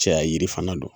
Cɛya yiri fana don